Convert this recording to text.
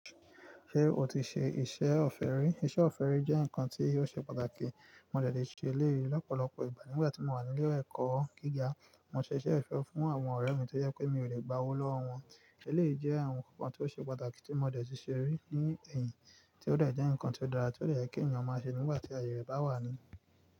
Ṣé o ti ṣe iṣẹ́ ọ̀fẹ́ rí? Iṣẹ́ ọ̀fẹ́ rí jẹ́ nǹkan tí ó ṣe pàtàkì. Mo dẹ̀ tí ṣe eléyìí lọ́pọ̀lọpọ̀ ìgbà nígbà tí mo wà ní ilé ẹ̀kọ́ gíga. Mo ṣe iṣẹ́ ọ̀fẹ́ fún àwọn ọ̀rẹ́ mi tí ó yẹ pé mi ò lè gba owó lọ́wọ́ wọn. Eléyìí jẹ́ àwọn ǹkan tí ó ṣe pàtàkì tí mo dẹ̀ tí ṣe rí ní ẹ̀yìn, tí ó dẹ̀ jẹ́ ǹkan tí ó dára tí ó dẹ̀ yẹ kí ènìyàn máa ṣe nígbà tí àyè rẹ̀ bá wà ni.